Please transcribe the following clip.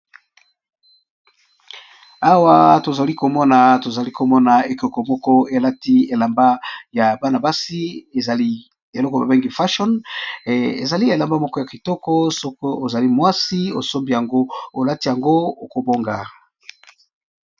Awa tozalikomona ekeko moko elati elamba ya Bana basi ezali eloko ba bengi fachonner eza elamba ya kitoko sokî ozali mwasi olati yango okobonga.